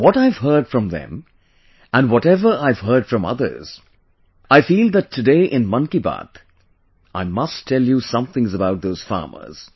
What I have heard from them and whatever I have heard from others, I feel that today in Mann Ki Baat, I must tell you some things about those farmers